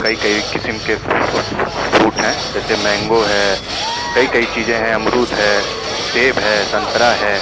कई-कई किसिम के फल व फ्रूट हैं जैसे मैंगो है कई-कई चीजें हैं अमरुद है सेब है संतरा है।